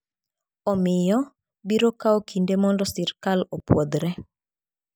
Omiyo, biro kawo kinde mondo sirkal opwodhe.